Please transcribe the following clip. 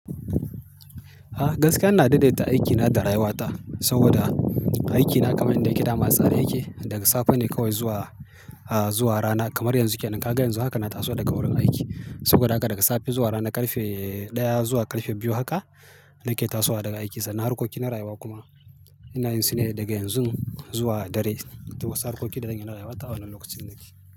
A gaskiya ina daidaita aikina da rayuwata saboda aikina kamar yadda yake dama a tsare yake daga safe ne kawai zuwa, a zuwa rana kamar yanzu ke nan ka ga yanzu haka na taso daga wurin aiki saboda haka daga safe zuwa rana karfe ɗaya zuwa karfe biyu haka nake tasowa daga aiki sannan harkoki na rayuwa kuma ina yin su ne daga yanzu zuwa dare. Duk wasu harkoki da zan yi na rayuwata a wannan lokacin nake.